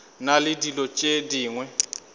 na le dilo tše dingwe